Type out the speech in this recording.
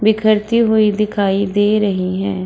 बिखरती हुई दिखाई दे रहीं हैं।